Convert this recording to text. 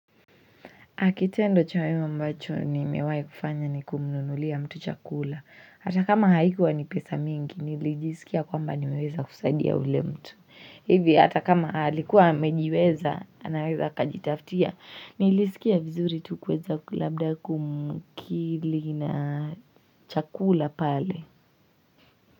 Kitendo cha wema ambacho nimewai kufanya ni kumnunulia mtu chakula. Hata kama haikuwa ni pesa mingi, nilijisikia kwamba nimeweza kusaidia ule mtu. Hivi, hata kama alikuwa amejiweza, anaweza akajitafutia, nilisikia vizuri tu kuweza ku labda kumkili na chakula pale.